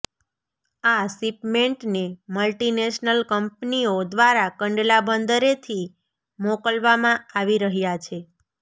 આ શિપમેન્ટને મલ્ટિનેશનલ કંપનીઓ દ્વારા કંડલા બંદરેથી મોકલવામાં આવી રહ્યા છે